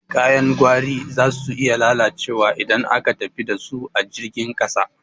Kayan gwari zasu iya lalacewa idan aka tafi dasu ta jirgin ƙasa.